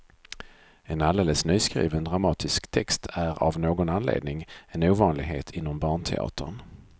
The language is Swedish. En alldeles nyskriven dramatisk text är av någon anledning en ovanlighet inom barnteatern.